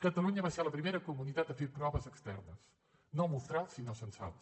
catalunya va ser la primera comunitat a fer proves externes no mostrals sinó censals